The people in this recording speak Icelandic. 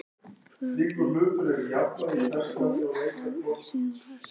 Hvaða leikkerfi spilið þið í sumar?